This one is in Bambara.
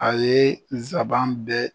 A ye nsaban bɛɛ.